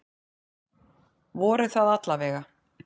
Voru það alla vega.